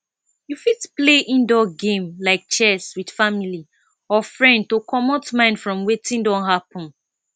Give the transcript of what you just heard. you fit play indoor game like chess with family or friend to comot mind from wetin don happen